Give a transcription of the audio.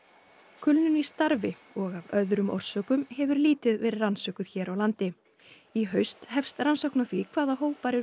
kulnun í starfi og af öðrum orsökum hefur lítið verið rannsökuð hér á landi í haust hefst rannsókn á því hvaða hópar eru